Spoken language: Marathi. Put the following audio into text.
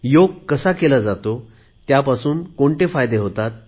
योग कसा केला जातो त्यापासून कोणते फायदे होतात